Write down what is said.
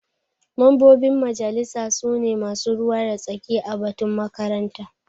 Mambobin majalisa su ne masu ruwa da tsaki a batun makaranta.